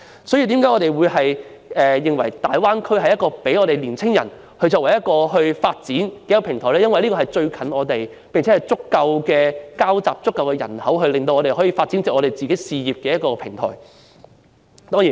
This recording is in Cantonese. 所以，我們認為大灣區為青年人的事業發展提供一個平台，因為大灣區靠近香港，而且有錯綜複雜的交織網和足夠人口，為事業發展提供一個平台。